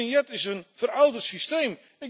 Een vignet is een verouderd systeem.